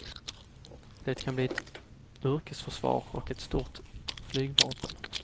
Det kan bli ett yrkesförsvar och ett stort flygvapen.